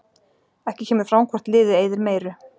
Ekki kemur fram hvort liðið eyðir meiru.